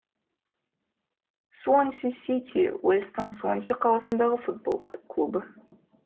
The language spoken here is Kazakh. суонси сити уэльстің суонси қаласындағы футбол клубы